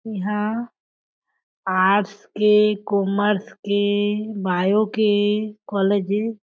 एह आर्ट्स के कॉमर्स के बायो के कॉलेज ए--